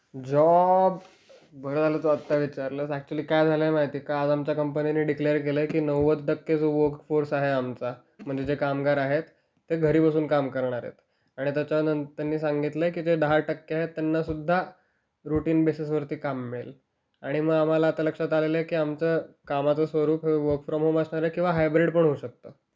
Job... बरं झालं, तू आता विचारलं. अकच्युअली, काय झालं माहिती आहे का? आज आमच्या कंपनीने डिक्लेअर केलं आहे की नव्वद टक्के जो वर्कफोर्स आहे आमचा म्हणजे जे कामगार आहेत ते घरी बसून काम करणार आहेत. आणि त्याच्यानंतर त्यांनी सांगितलंय की जे दहा टक्के आहेत त्यांना सुद्धा रुटीन बेसिसवर काम मिळेल. आणि मग आम्हाला आता लक्षात आलेलं आहे की आमचं कामाचं स्वरूप हे वर्क फ्रॉम होम असणार आहे किंवा हायब्रीड पण होऊ शकते.